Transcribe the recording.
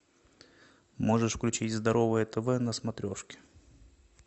можешь включить здоровое тв на смотрешке